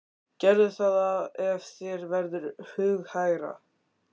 Gerðu það ef þér verður hughægra.